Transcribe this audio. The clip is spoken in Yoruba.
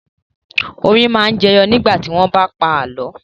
Orin máa ń jẹyọ nígbà tí wọ́n bá ń pa àlọ́.